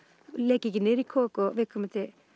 leki ekki niður í kok og viðkomandi